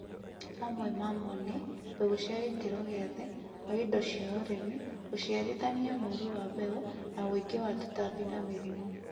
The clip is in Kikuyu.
mamwe mamo nĩ mbegũ cĩa gĩkĩro gĩathĩ, kwa ĩndo cĩa ũrĩmĩ, ũcĩarĩthanĩa mũũrũ wa mbegũ na wũĩngĩ wa tũtambĩ na mĩrĩmũ